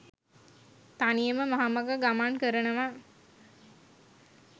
තනියම මහමග ගමන් කරනව